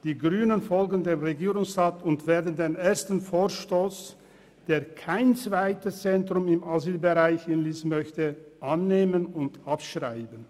Die Grünen folgen dem Regierungsrat und werden den ersten Vorstoss, der kein zweites Zentrum im Asylbereich in Lyss möchte, annehmen und abschreiben.